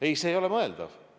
Ei, see ei ole mõeldav.